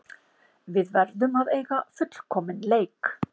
Við verðum að eiga fullkominn leik